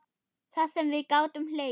Það sem við gátum hlegið.